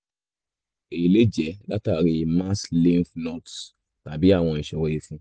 èyí lè lè jẹ́ látàrí mass lymph nodes tàbí àwọn ìṣòro ìfun